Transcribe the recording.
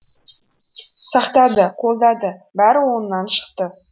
сақтады қолдады бәрі оңынан шықты